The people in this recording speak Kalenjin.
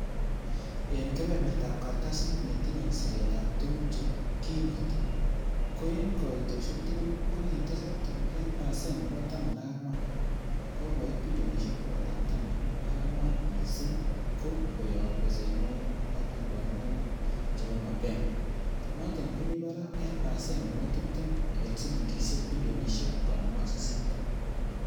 En kebebertab kartasit netinye sireet ab tuguk che kinget, ko en koitosiek tugul ko kitesak tuguk en pasen nebo taman ak ang'wan kokoit bilionisiek bogol ak taman ak ang'wan, missing ko koyob besenwogik ak liponwokig chebo mapema, noton ko kimi barak en pasen nebo tibtem en silingisiek bilionisiek konoom ak sisit.